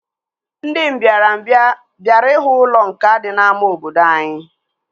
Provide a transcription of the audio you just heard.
Ndị mbịarambịa bịara ihu ụlọ nkà dị n'ámá obodo anyị